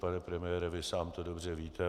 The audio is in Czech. Pane premiére, vy sám to dobře víte.